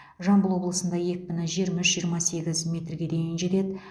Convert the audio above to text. жамбыл облысында екпіні жиырма үш жиырма сегіз метрге дейін жетеді